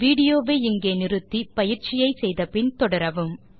video வை இங்கே pause செய்து பின்வரும் எக்ஸர்சைஸ் ஐ செய்த பின் மீண்டும் தொடரவும்